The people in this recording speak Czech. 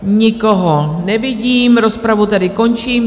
Nikoho nevidím, rozpravu tedy končím.